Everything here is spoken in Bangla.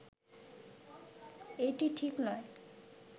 এটি ঠিক নয়